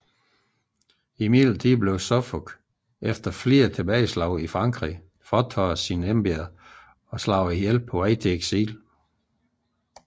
Imidlertid blev Suffolk efter flere tilbageslag i Frankrig frataget sine embeder og myrdet på vej til eksil